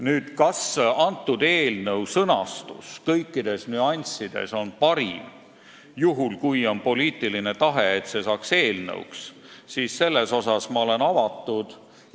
Nüüd, kas eelnõu sõnastus kõikides nüanssides on parim, juhul kui on poliitiline tahe, et see saaks eelnõuks, siis selles suhtes ma olen avatud.